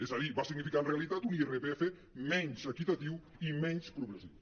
és a dir va significar en realitat un irpf menys equitatiu i menys progressiu